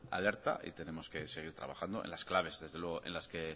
alerta y tenemos que seguir trabajando en las claves desde luego en las que